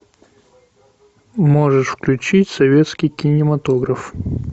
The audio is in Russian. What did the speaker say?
можешь включить советский кинематограф